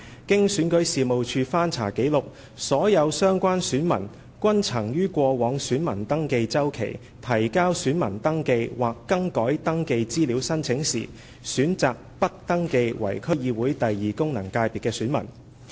經選舉事務處翻查紀錄，所有相關選民均曾於過往選民登記周期提交選民登記或更改登記資料申請時，選擇不登記為區議會功能界別的選民。